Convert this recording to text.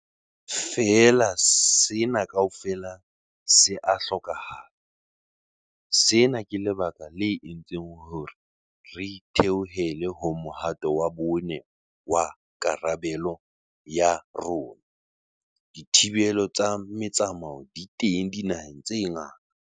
Feela sena kaofela se a hlokahala. Sena ke lebaka le entseng hore re theohele ho mohato wa bone wa karabe-lo ya rona. Dithibelo tsa motsamao di teng dinaheng tse ngata.